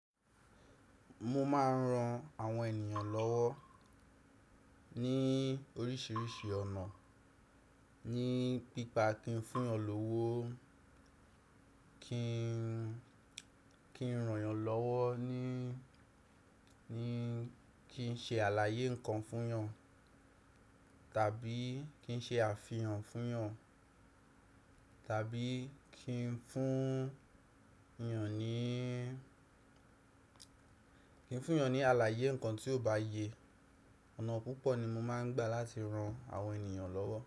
Mo máa ń ran àwọn ènìyàn lọ́wọ́ ní oríṣiríṣi ọ̀nà, ní nípa kin fúnyan l'ówo, ki n ràn yàn lọ́wọ́ ni, kin ṣe àlàyé ǹkan fún yàn, tàbí kin ṣe àfihàn fún yàn, tàbí ki n fún yàn ní àlàyé ǹkan tí ò bá yẹ. Ọ̀nà púpọ̀ ni mo máa ń gbà láti ran àwọn ènìyàn lọ́wọ́